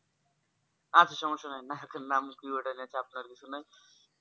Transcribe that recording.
আচ্ছা সমস্যা নেই নায়কের নাম কি ওটা চাপ নেওয়ার কিছু নেই